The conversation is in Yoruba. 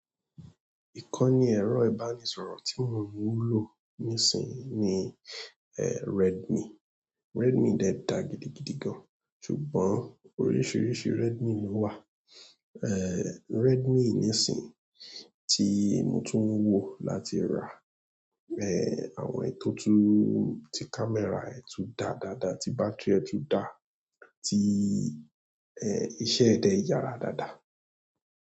Ìkọ́ni ẹ̀rọ ìbánisọ̀rọ̀ tí mò ń lò nísìnyí ni eh Redmi. Redmi dẹ dà gidigidi gan-an ṣùgbọ́n oríṣiríṣi Redmi ló wà. Eh, Redmi nísin tí mo tún ń wò láti rà eh àwọn èyí tó tú, tí camera ẹ̀ tú da dáadáa, tí battery ẹ̀ tú da, tí eh iṣẹ́ ẹ dẹ yára dáadáa.